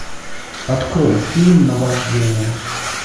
открой фильм наваждение